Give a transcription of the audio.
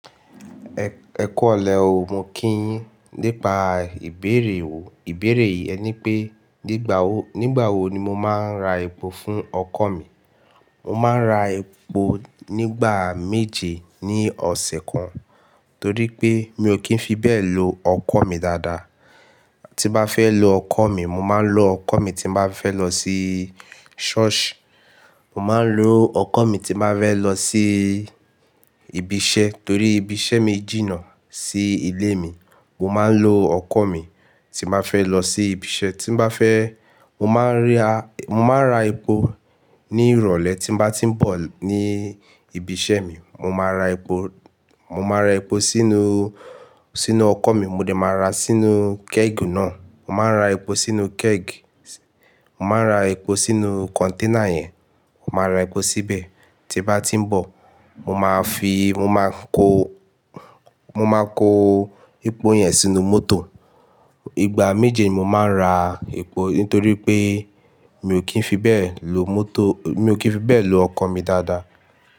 Ẹ̀, ẹ kú ìrọ̀lẹ́ oo. Mo kí yín nípa ìbéèrè wo. Ìbéèrè yẹn ni pé nígbà wo, nígbà wo ni mo máa ń ra epo fún ọkọ̀ mi. Mo máa ń ra epo nígbà méje ní ọ̀sẹ̀ kan, torí pé mi ò kí ń fi bẹ́ẹ̀ lo ọkọ̀ mi dáadáa. Tí n bá fẹ́ lo ọkọ̀ mi, mo máa ń lo ọkọ̀ mi tí n bá fẹ́ lọ sí ṣọ́ọ̀ṣì, mo máa ń lo ọkọ̀ mi tí n bá fẹ́ lọ sí ibi iṣẹ́ torí ibi iṣẹ́ mi jìnnà sí ilé mi. Mo máa ń lo ọkọ̀ mi tí n bá fẹ́ lọ sí ibi iṣẹ́. Tí n bá fẹ́, mo má ń ra, mo ma ń ra epo ní ìrọ̀lẹ́ tí n bá tí ń bọ̀ ní ibi iṣẹ́ mi. Mo máa ra epo, mo máa ra epo sínú, sínú ọkọ̀ mi. Mo dè máa ra sínú keg náà. Mo máa ń ra epo sínú keg. Mo máa ń ra epo sínú kọ̀nténà yẹn. Mo máa ra epo síbẹ̀ tí bá tí ń bọ̀. Mo máa fi, mo máa kó, mo máa kó epo yẹn sínú mọ́tò. Ìgbà méje mo máa ń ra epo nítorí pé mi ò kí ń fi bẹ́ẹ̀ lo mọ́tò, mi ò kí ń fi bẹ́ẹ̀ lo ọkọ̀ mi dáadáa.